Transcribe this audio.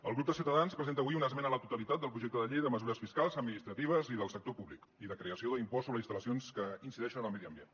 el grup de ciutadans presenta avui una esmena a la totalitat del projecte de llei de mesures fiscals administratives i del sector públic i de creació de l’impost sobre instal·lacions que incideixen en el medi ambient